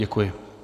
Děkuji.